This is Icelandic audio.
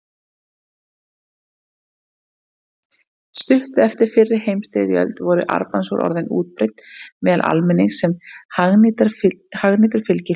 Stuttu eftir fyrri heimsstyrjöld voru armbandsúr orðin útbreidd meðal almennings sem hagnýtur fylgihlutur.